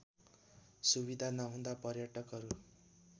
सुविधा नहुँदा पर्यटकहरू